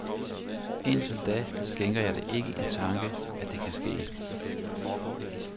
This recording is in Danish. Indtil da skænker jeg det ikke en tanke, at det kan ske.